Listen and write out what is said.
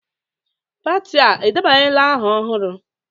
Pati a edebanyela aha ọhụrụ?